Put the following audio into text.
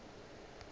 ke mang yo a sa